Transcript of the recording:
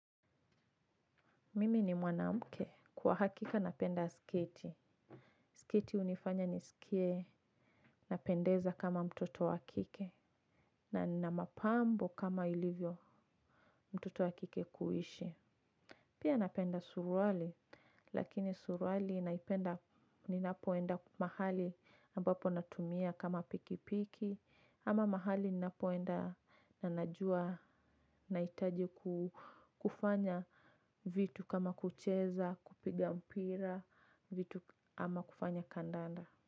Mimi ni mwanamke kwa hakika napenda sketi. Sketi hunifanya nisikie napendeza kama mtoto wa kike na nina mapambo kama ilivyo mtoto wa kike kuishi. Pia napenda suruali lakini suruali naipenda ninapoenda mahali ambapo natumia kama pikipiki ama mahali ninapoenda na najua nahitaji kufanya vitu kama kucheza kupiga mpira vitu ama kufanya kandanda.